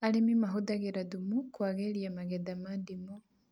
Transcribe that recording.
Arĩmi mahũthagĩra thumu kũagĩria magetha ma ndimũ